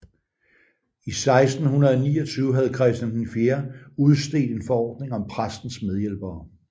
I 1629 havde Christian IV udstedt en forordning om præstens medhjælpere